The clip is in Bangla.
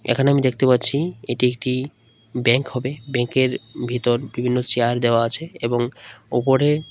এখানে আমি দেখতে পাচ্ছি এটি একটি ব্যাঙ্ক হবে ব্যাঙ্কের এর ভেতর বিভিন্ন চেয়ার দেওয়া আছে এবং ওপরে --